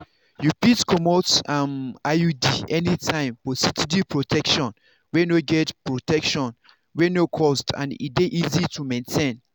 you fit comot um iud anytime for steady protection wey no protection wey no cost and dey easy to maintain.